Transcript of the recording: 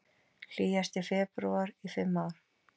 Hlýjasti febrúar í fimm ár